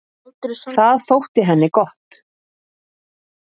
Það þótti henni gott.